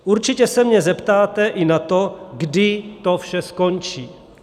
Určitě se mě zeptáte i na to, kdy to vše skončí.